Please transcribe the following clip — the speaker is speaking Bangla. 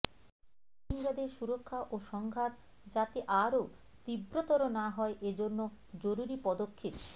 রোহিঙ্গাদের সুরক্ষা ও সংঘাত যাতে আরও তীব্রতর না হয় এ জন্য জরুরি পদক্ষেপ